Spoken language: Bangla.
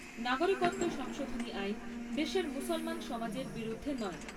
নাগরিকত্ব সংশোধনী আইন দেশের মুসলমান সমাজের বিরুদ্ধে নয়।